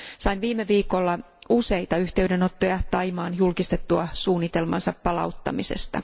Sain viime viikolla useita yhteydenottoja Thaimaan julkistettua suunnitelmansa palauttamisesta.